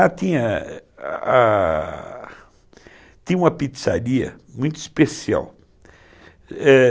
Ah, tinha uma pizzaria muito especial. É...